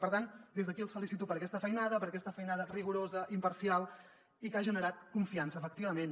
per tant des d’aquí els felicito per aquesta feinada per aquesta feinada rigorosa imparcial i que ha generat confiança efectivament